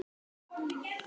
Þetta svar byggir á því.